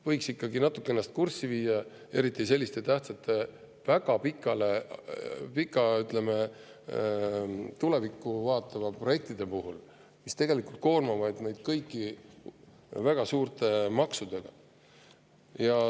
Võiks ikkagi ennast kurssi viia, eriti selliste tähtsate, väga pikalt tulevikku vaatavate projektidega, mis tegelikult koormavad meid kõiki väga suurte maksudega.